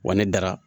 Wa ne dara